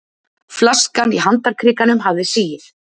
Flaskan í handarkrikanum hafði sigið.